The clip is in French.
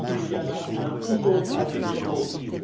Il y a là un tout autre avenir possible.